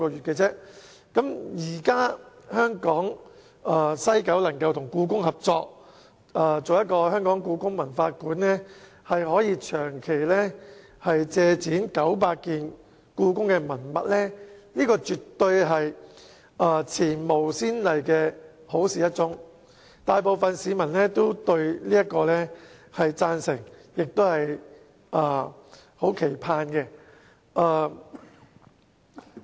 現在西九文化區管理局能夠與故宮博物院合作，設立故宮館，可以長期借展900件故宮文物，這絕對是前無先例的好事一宗，大部分市民對此也表示贊成和期盼。